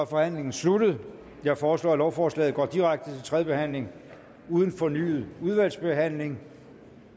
forhandlingen sluttet jeg foreslår at lovforslaget går direkte til tredje behandling uden fornyet udvalgsbehandling